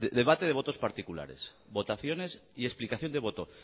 debate de votos particulares votaciones y explicación de voto